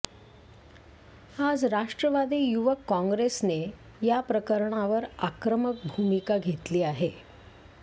आज राष्ट्रवादी युवक कॉंग्रेसने या प्रकरणावर आक्रमक भूमिका घेतली आहे